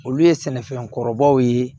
Olu ye sɛnɛfɛn kɔrɔbaw ye